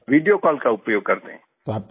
जी video call का उपयोग करते हैं